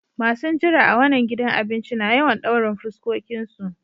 Masun jira a wanan gidan abincin na yawan daurin fuskokin su.